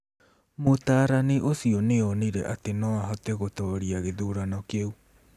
Mũtaarani ũcio nĩ onire atĩ no ahote gũtooria gĩthurano kĩu.